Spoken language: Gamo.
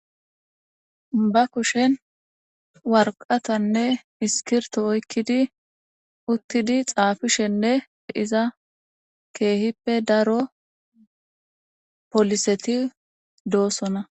Ba kushshen waraqatanne iskkirtto oyqidi, uttidi xaafishenne iza keehippe daro poliseti doosona.